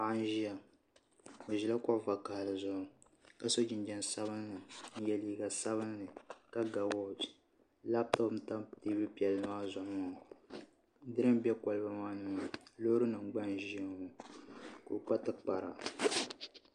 Paɣa n ʒiya o ʒila kuɣu vakaɣali zuɣu ka so jinjɛm sabinli n yɛ liiga sabinli ka ga wooch labtop n tam teebuli piɛlli maa zuɣu maa diriinki n bɛ kolba maa ni maa loori nim gba n ʒiya ka o kpa tikpara